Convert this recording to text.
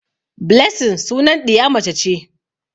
Blessing sunan ɗiya mace ce.